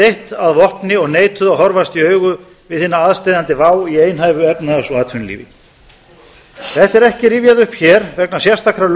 eitt að vopni og neituðu að horfast í augu við hina aðsteðjandi vá í einhæfu efnahags og atvinnulífi þetta er ekki rifjað upp hér vegna sérstakrar